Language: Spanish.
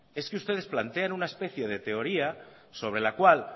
es que ustedes plantean una especie de teoría sobre la cual